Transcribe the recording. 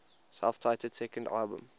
self titled second album